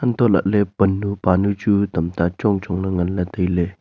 untoh lahley pannu panu chu tamta chong chongley nganley tailey.